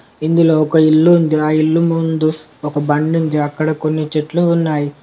ఇందులో ఒక ఇల్లు ఉంది ఆ ఇల్లు ముందు ఒక బండి ఉంది అక్కడ కొన్ని చెట్లు ఉన్నాయి.